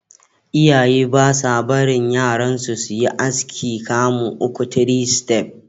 Iyaye ba sa barin yaransu su yi aski kamu uku (3 steps).